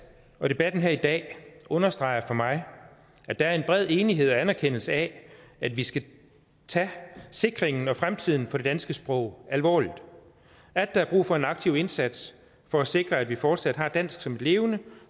og debatten her i dag understreger for mig at der er en bred enighed om og anerkendelse af at vi skal tage sikringen af og fremtiden for det danske sprog alvorligt og at der er brug for en aktiv indsats for at sikre at vi fortsat har dansk som et levende